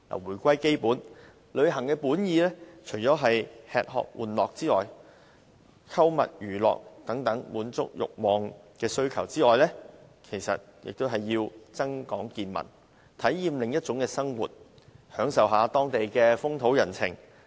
回歸基本，旅行的本意不但是為了滿足吃喝玩樂、購物娛樂等慾望或需求，也是為了增廣見聞、體驗另一種生活，以及享受當地的風土人情。